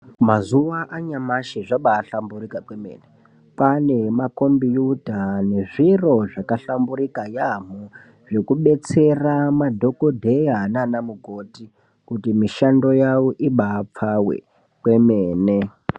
Mazuva anyamashi zvabai hlamburika kwemene kwane ma kombiyuta ne zviro zvaka hlamburika yamho zveku betsera madhokodheya nana mukoti kuti mishando yavo ibai pfawe kwamene.